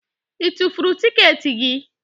Ị tufuru tikeeti gị?